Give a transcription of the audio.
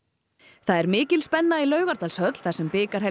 það er mikil spenna í Laugardalshöll þar sem